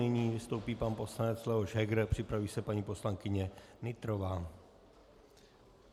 Nyní vystoupí pan poslanec Leoš Heger a připraví se paní poslankyně Nytrová.